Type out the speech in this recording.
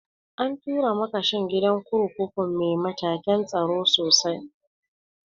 An tura makashin gidan kurkukun mai matakan tsaro sosai